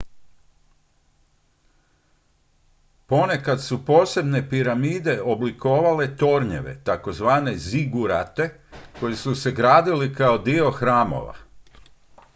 ponekad su posebne piramide oblikovale tornjeve tzv zigurate koji su se gradili kao dio hramova